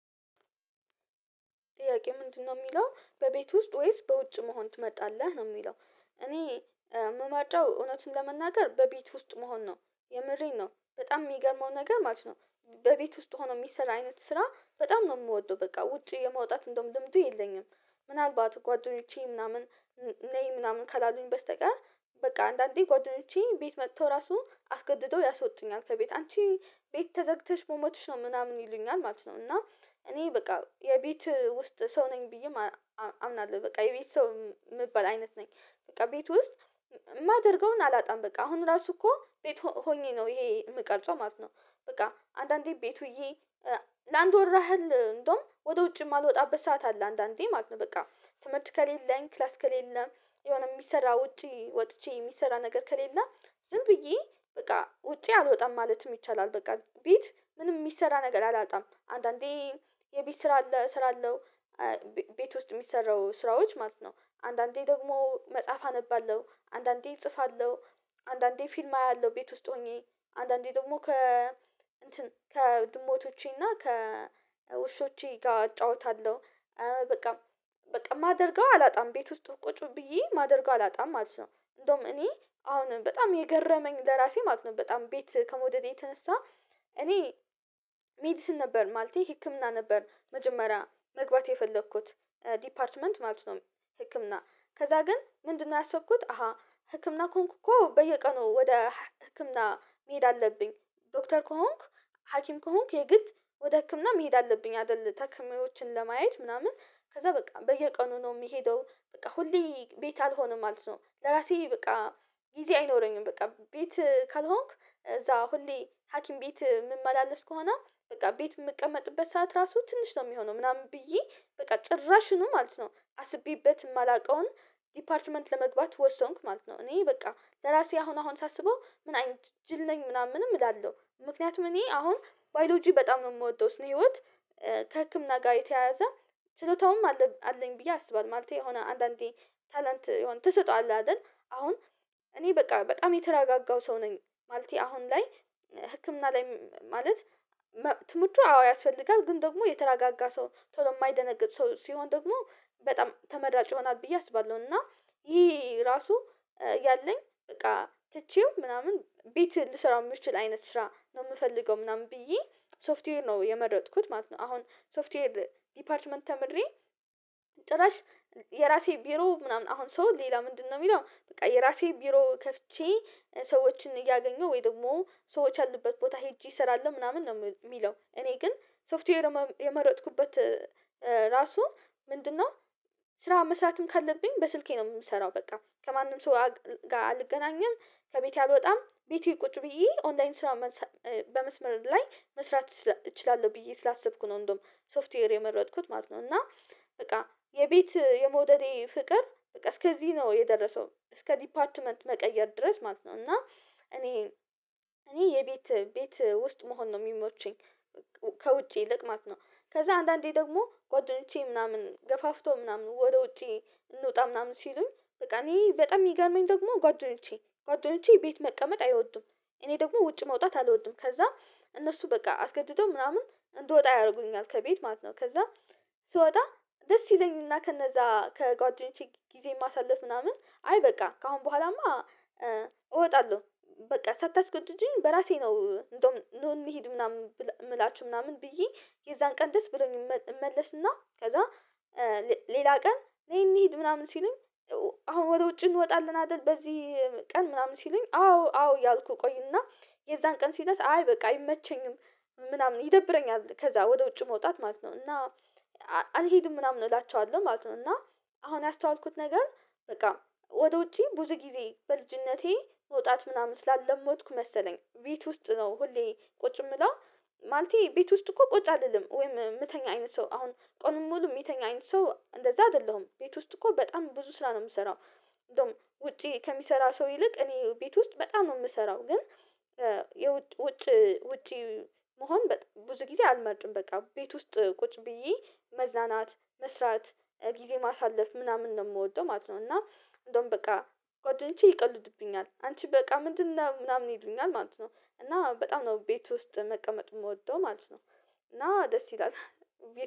ጥያቄው ምንድነው የሚለው? በቤት ውስጥ ወይስ በውጭ መሆን ትመጣለህ ነው የሚለው እኔ ምመርጠው እውነቱን ለመናገር በቤት ውስጥ መሆን ነው። የምሬን ነው በጣም የሚገመው ነገር ማለት ነው በቤት ውስጥ ሆኖ የሚሰራ አይነት ስራ በጣም ነው የምወደው። በቃ ውጪ የመውጣት እንደውም ልምዱ የለኝም ምናልባት ጓደኞቼ ምናምን ነይ ምናምን ካላሉኝ በስተቀር በቃ አንዳንዴ ጓደኞቼ ቤት መጥተው ራሱ አስገድደው ያሶጡኛል ከቤት አንቺ ቤት ተዘግተሽ መሞተሽ ነው ምናምን ይሉኛል ማለት ነው እና እኔ በቃ የቤት ውስጥ ሰው ነኝ ብዬም አምናለሁ በቃ የቤት ሰው የምባል አይነት ነኝ። በቃ ቤት ውስጥ የማደርገውን አላጣም በቃ አሁን ራሱ እኮ ቤት ሆኜ ነው ይሄን የምቀርጸው ማለት ነው በቃ አንዳንዴ ቤት ውዬ ለአንድ ወር ያህል እንደውም ወደ ውጭ የማልወጣበት ሰዓት አለ አንዳንዴ ማለት ነው በቃ። ትምህርት ከሌለኝ ክላስ ከሌለም የሆነ የሚሰራ ውጪ ወጥቼ የሚሰራ ነገር ከሌለ ዝም ብዬ በቃ ውጪ አልወጣም ማለትም ይቻላል። በቃ ቤት ምንም የሚሰራ ነገር አላጣም አንዳንዴ የቤት ስራ አለ እሰራለሁ፣ ቤት ውስጥ የሚሰሩ ስራዎች ማለት ነው አንዳንዴ ደግሞ መጽሐፍ አነባለሁ አንዳንዴ እጽፋለሁ አንዳንዴ ፊልም አያለሁ ቤት ውስጥ ሆኜ አንዳንዴ ደግሞ ከ ከድሞቶቼና ከውሾቼ ጋር አጫውታለሁ። በቃ የማደርገው አላጣም ቤት ውስጥ ቁጭ ብዬ ማደርገው አላጣም ማለት ነው። እንደውም እኔ አሁንም በጣም የገረመኝ ለራሴ ማለት ነው በጣም ቤት ከመውደዴ የተነሳ እኔ ሜዲሲን ነበር ማለቴ ህክምና ነበር መጀመሪያ መግባት የፈለኩት። ዲፓርትመንት ማለት ነው ህክም ከዛ ግን ምንድነው ያሰብኩት አሃ ህክምና ከሆንኩ እኮ በየቀኑ ወደ ህክምና መሄድ አለብኝ ዶክተር ከሆንኩ ሀኪም ከሆንኩ የግድ ወደ ህክምና መሄድ አለብኝ አይደል ታካሚዎችን ለማየት ምናምን ከዛ በቃ በየቀኑ ነው የምሄደው በቃ ሁሌ ቤት አልሆነም ማለት ነው ለራሴ በቃ ጊዜ አይኖረኝም በቃ ቤት ካልሆንኩ እዛ ሁሌ ሀኪም ቤት ምመላለስ ከሆነ በቃ ቤት የምቀመጥበት ሰዓት ራሱ ትንሽ ነው የሚሆነው ምናምን ብዬ በቃ ጭራሹኑ ማለት ነው አስቤበት የማላውቀውን ዲፓርትመንት ለመግባት ወሰንኩ ማለት ነው። እኔ በቃ ለራሴ አሁን አሁን ሳስበው ምን አይነት ጅል ነኝ ምናምንም እላለሁ። ምክንያቱም እኔ አሁን ባዮሎጂ በጣም ነው የምወደው ስነ-ህይወት ከህክምና ጋር የተያያዘ ችሎታውም አለኝ ብዬ አስባለሁ። ማለቴ የሆነ አንዳንዴ ታለንት የሆነ ተሰጥኦ አለ አይደል አሁን እኔ በቃ በጣም የተረጋጋው ሰው ነኝ። ማለቴ አሁን ላይ ህክምና ላይ ማለት ትምህርቱ አዎ ያስፈልጋል ግን ደግሞ የተረጋጋ ሰው ቶሎ የማይደነግጥ ሰው ሲሆን ደግሞ በጣም ተመራጭ ይሆናል ብዬ አስባለሁ እና ይሄ ራሱ እያለኝ በቃ ትቼው ምናምን ቤት ልሰራው የምችል አይነት ስራ ነው የምፈልገው ምናምን ብዬ ሶፍትዌር ነው የመረጥኩት ማለት ነው አሁን ሶፍትዌር ዲፓርትመንት ተምሬ ጭራሽ የራሴ ቢሮ ምናምን አሁን ሰው ሌላ ምንድነው የሚለው በቃ የራሴ ቢሮ ከፍቼ ሰዎችን እያገኘሁ ወይ ደግሞ ሰዎች ያሉበት ቦታ ሄጄ እሰራለሁ ምናምን ነው የሚለው። እኔ ግን ሶፍትዌር የመረጥኩበት ራሱ ምንድነው ስራ መስራትም ካለብኝ በስልኬ ነው የምሰራው በቃ ከማንም ሰው ጋር አልገናኝም። ከቤቴ አልወጣም። ቤቴ ቁጭ ብዬ ኦንላይን ስራ በመስመር ላይ መስራት እችላለሁ ብዬ ስላሰብኩ ነው እንደውም ሶፍትዌር የመረጥኩት ማለት ነው። እና በቃ የቤት የመውደዴ ፍቅር በቃ እስከዚህ ነው የደረሰው እስከ ዲፓርትመንት መቀየር ድረስ ማለት ነው እና እኔ እኔ ቤት ውስጥ መሆን ነው የሚመቸኝ ከውጪ ይልቅ ማለት ነው። ከዛ አንዳንዴ ደግሞ ጓደኞቼ ምናምን ገፋፍተው ምናምን ወደ ውጪ እንውጣ ምናምን ሲሉኝ እኔ በጣም የሚገርመኝ ደግሞ ጓደኞቼ ጓደኞቼ ቤት መቀመጥ አይወዱም። እኔ ደግሞ ውጭ መውጣት አልወድም። ከዛ እነሱ በቃ አስገድደው ምናምን እንድወጣ ያደርጉኛል ከቤት ማለት ነው። ከዛ ስወጣ ደስ ይለኛል እና ከነዛ ከጓደኞቼ ጊዜ ማሳለፍ ምናምን አይ በቃ ከአሁን በኋላማ እወጣለሁ በቃ ሳታስገድዱኝ በራሴ ነው እንደውም ኑ እንሂድ ምናምን የምላችሁ ምናምን ብዬ የዛን ቀን ደስ ብሎኝ እመለስና ከዛ ሌላ ቀን ነይ እንሂድ ምናምን ሲሉኝ አሁን ወደ ውጭ እንወጣለን አይደል በዚህ ቀን ምናምን ሲሉኝ አዎ አዎ እያልኩ እቆይና የዛን ቀን ሲደርስ አይ በቃ አይመቸኝም ምናምን ይደብረኛል ከዛ ወደ ውጭ መውጣት ማለት ነው እና አልሄድም ምናምን እላቸዋለሁ ማለት ነው። እና አሁን ያስተዋልኩት ነገር በቃ ወደ ውጪ ብዙ ጊዜ በልጅነቴ መውጣት ምናምን ስላለመድኩ መሰለኝ ቤት ውስጥ ነው ሁሌ ቁጭ የምለው ማለቴ ቤት ውስጥ እኮ ቁጭ አልልም ወይም የምተኛ አይነት ሰው አሁን ቀኑን ሙሉ የሚተኛ አይነት ሰው እንደዛ አይደለሁም ቤት ውስጥ እኮ በጣም ብዙ ስራ ነው የምሰራው። እንደውም ውጪ ከሚሰራ ሰው ይልቅ እኔ ቤት ውስጥ በጣም ነው የምሰራው ግን ውጪ መሆን ብዙ ጊዜ አልመርጥም በቃ ቤት ውስጥ ቁጭ ብዬ መዝናናት፣ መስራት፣ ጊዜ ማሳለፍ ምናምን ነው የምወደው ማለት ነው። እና እንደውም በቃ ጓደኞቼ ይቀልዱብኛል አንቺ በቃ ምንድነው ምናምን ይሉኛል ማለት ነው። በጣም ነው ቤት ውስጥ መቀመጥ የምወደው ማለት ነው እና ደስ ይላል።